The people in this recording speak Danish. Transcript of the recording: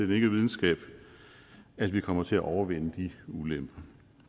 videnskab at vi kommer til at overvinde de ulemper